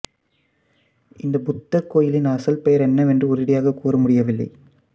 இந்த புத்தர் கோயிலின் அசல் பெயர் என்னவென்று உறுதியாகக் கூற முடியவில்லை